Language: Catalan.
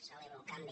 celebro el canvi